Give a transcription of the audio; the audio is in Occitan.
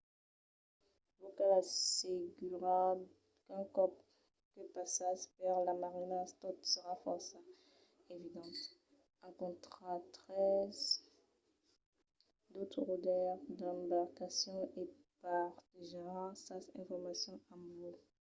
vos cal assegurar qu'un còp que passatz per las marinas tot serà fòrça evident. encontraretz d’autres rodaires d'embarcacions e partejaràn sas informacions amb vos